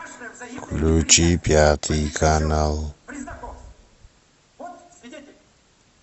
включи пятый канал